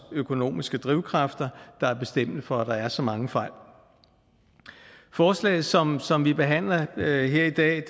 økonomiske drivkræfter der er bestemmende for at der er så mange fejl forslaget som som vi behandler her i dag